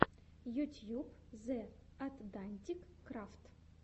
ютьюб зе атдантик крафт